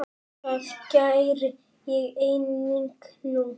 Það geri ég einnig nú.